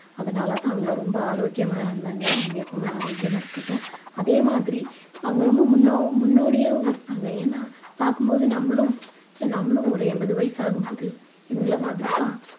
அதனால தான் அவங்க ரொம்ப ஆரோக்கியமா இருந்தாங்க அவங்க எப்பவுமே ஆரோக்கியமா இருக்கட்டும் அதே மாதிரி அவங்க ரொம்ப முன்னோ~ முன்னோடியாவும் இருந்தாங்க ஏன்னா பார்க்கும் போது நம்மளும் ச்சே நம்மளும் ஒரு என்பது வயசு ஆகும்போது இவங்கள மாதிரி தான்